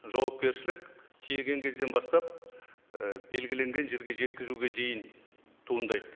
жауапкершілік тиеген кезден бастап і белгіленген жерге жеткізуге дейін туындайды